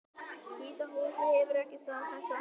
Hvíta húsið hefur ekki staðfest þetta